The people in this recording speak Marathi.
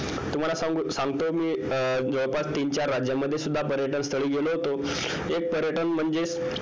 तुम्हाला सांगू सांगतो मी जवळपास तीन चार राज्यामध्ये सुद्धा पर्यटन स्थळी गेलो होतो एक पर्यटन म्हणजेच